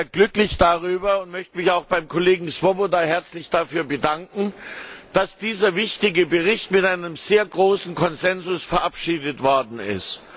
Ich bin sehr glücklich darüber und möchte mich auch beim Kollegen Swoboda herzlich dafür bedanken, dass dieser wichtige Bericht mit einem sehr großen Konsens verabschiedet worden ist.